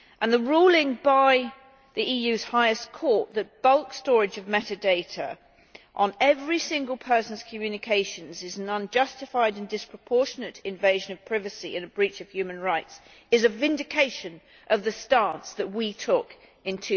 The ruling by the EU's highest court that bulk storage of metadata on every single person's communications is an unjustified and disproportionate invasion of privacy and a breach of human rights is a vindication of the stance that we took in